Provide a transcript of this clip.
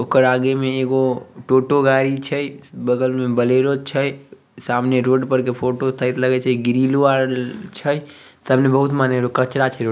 ओकर आगे में ईगो टोटो गाड़ी छे बगल में बोलेरो छे सामने रोड पर के फोटो टाइप लागे छे सामने बहुत कचरा छे।